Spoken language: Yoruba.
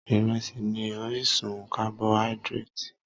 Ìrẹsì ni orísun carboidratì.